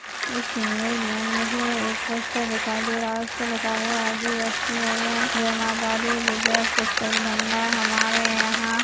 इस इमेज में मुझे एक पोस्टर दिखाई दे रहा है उसपे लिखा हुआ है जी.एस.टी.ई.एन. जय माता दी विजय पुस्तक भंडार हमारे यहाँ --